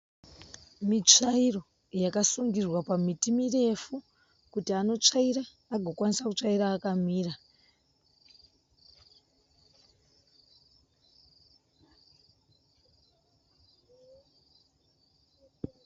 Mitsvairo yasungirirwa pamiti mirefu kuti anotsvaira, agokwanisa kutsvaira akamira.